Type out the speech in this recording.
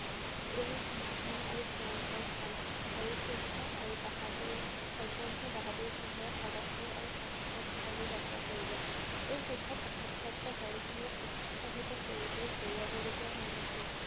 এই মহান আৰু ভয়ংকৰ কাম হৰি সিং আৰু বাহাদুৰ অন্যান্য বাহাদুৰ সিঙে সাহসেৰে আৰু সাহসেৰে কাষলৈ যাত্ৰা কৰিলে। এই যুদ্ধত আঘাতপ্ৰাপ্ত হৰি সিঙে উৎসাহিত কৰি লৈ হেৰুৱাব লগা হোৱা নাছিল।